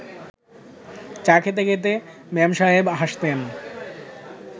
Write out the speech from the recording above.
চা খেতে খেতে মেমসাহেব হাসতেন